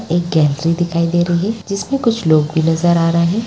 एक गैलरी दिखाई दे रही है जिसमें कुछ लोग नज़र आ रहे हैं।